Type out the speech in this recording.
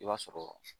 I b'a sɔrɔ